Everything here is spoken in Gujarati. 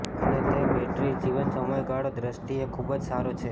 અને તે બેટરી જીવન સમયગાળો દ્રષ્ટિએ ખૂબ જ સારો છે